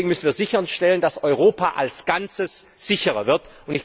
Deswegen müssen wir sicherstellen, dass Europa als Ganzes sicherer wird.